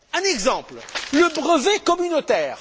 Un exemple le brevet communautaire.